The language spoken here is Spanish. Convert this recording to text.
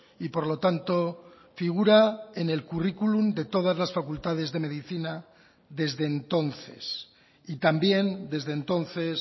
y por lo tanto figura en el currículum de todas las facultades de medicina desde entonces y también desde entonces